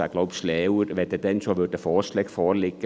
Ich glaube, es wäre schlauer, es lägen dann schon Vorschläge vor.